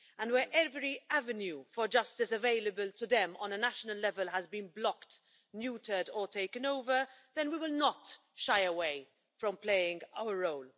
Where every avenue for justice available to them on a national level has been blocked, neutered or taken over, then we will not shy away from playing our role.